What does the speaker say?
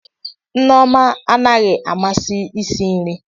Nneoma anaghị amasị isi nri